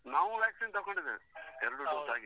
ನಾವು vaccine ತಗೊಂಡಿದ್ದೇವೆ.ಎರಡು dose ಆಗಿದೆ.